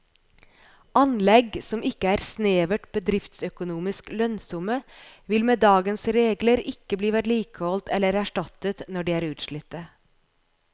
Anlegg som ikke er snevert bedriftsøkonomisk lønnsomme vil med dagens regler ikke bli vedlikeholdt eller erstattet når de er utslitte.